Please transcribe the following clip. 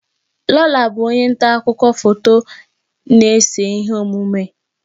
Lola bụ onye nta akụkọ foto na-ese ihe omume.